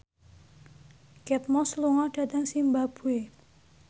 Kate Moss lunga dhateng zimbabwe